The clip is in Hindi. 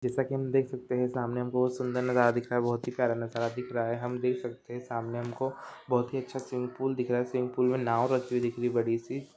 जैसे की हम देख सकते है सामने एक बहुत सुंदर नजारा दिख रहा है बहुत ही प्यारा नजारा दिख रहा है हम देख सकते है सामने हमको अह बहुत ही अच्छा स्विमिंग पूल दिख रहा है स्विमिंग पूल में नाव रखी हुई दिख रही बड़ी सी।